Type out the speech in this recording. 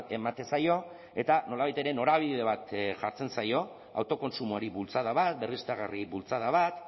ematen zaio eta nolabait ere norabide bat jartzen zaio autokontsumoari bultzada bat berriztagarri bultzada bat